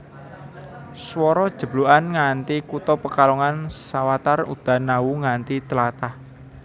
Swara jeblugan nganthi kutha Pekalongan sawatar udan awu nganthi tlatah